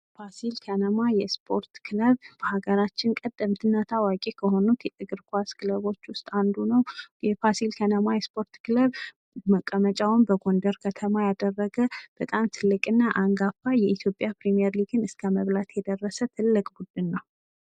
ፋሲል ከነማ የስፖርት ክለብ በሀገራችን ቀደምትና ታዋቂ ከሆኑት የእግር ኳስ ክለቦች ውስጥ አንዱ ነው። ፋሲል ከነማ የስፖርት ክለብ መቀመጫውን በጎንደር ከተማ ያደረገ በጣም ትልቅ እና አንጋፋ የኢትዮጵያ ፕሪሜርሊግ እስከ መብላት የደረሰ ትልቅ ቡድን ነው።